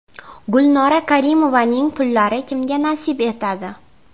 Gulnora Karimovaning pullari kimga nasib etadi?